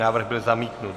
Návrh byl zamítnut.